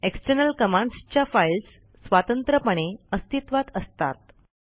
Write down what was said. external commands च्या files स्वतंत्रपणे अस्तित्वात असतात